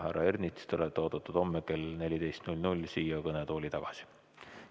Härra Ernits, te olete oodatud homme kell 14 siia kõnetooli tagasi.